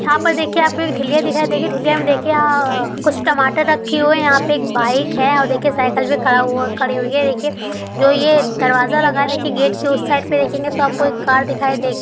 यहाँ पर देखिये आपको एक ठिलिया दिखाई देगी| ठिलिया मे देखिये कुछ टमाटर रखे हुए है | यहाँ पे एक बाइक है और देखिये साइकिल भी खड़ा हुआ खड़ी हुई है| ये देखिये जो ये दरवाजा लगा है देखिये गेट के उस साइड पे देखेंगे तो आपको एक कार दिखाई दे--